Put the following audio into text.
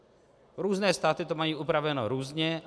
Různé státy to mají upraveno různě.